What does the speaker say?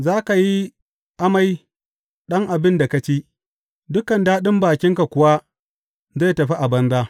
Za ka yi amai ɗan abin da ka ci dukan daɗin bakinka kuwa zai tafi a banza.